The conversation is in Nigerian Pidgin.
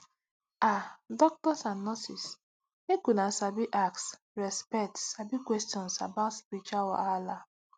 ah doctors and nurses make una sabi ask respect sabi questions about spiritual wahala